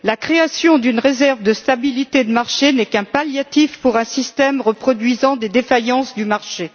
La création d'une réserve de stabilité de marché n'est qu'un palliatif pour un système reproduisant des défaillances du marché.